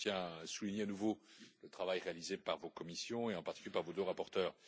Je tiens à souligner à nouveau le travail réalisé par vos commissions et en particulier par vos deux rapporteurs.